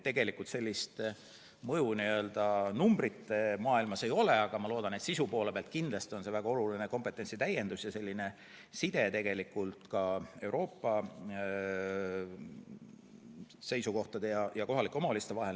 Tegelikult olulist mõju n‑ö numbrite maailmas ei ole, aga ma loodan, et sisu poole pealt on see väga oluline kompetentsi täiendus ja side Euroopa seisukohtade ja kohalike omavalitsuste vahel.